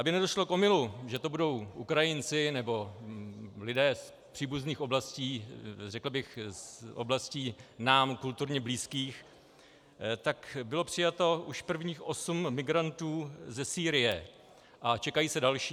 Aby nedošlo k omylu, že to budou Ukrajinci nebo lidé z příbuzných oblastí, řekl bych z oblastí nám kulturně blízkých, tak bylo přijato už prvních osm migrantů ze Sýrie a čekají se další.